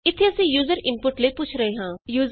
ਇਥੇ ਅਸੀਂ user input ਲਈ ਪੁੱਛ ਰਹੇ ਹਾਂ